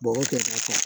Bɔgɔ kɛrɛda kan